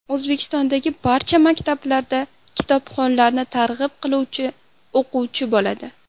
O‘zbekistondagi barcha maktablarda kitobxonlikni targ‘ib qiluvchi o‘quvchi bo‘ladi.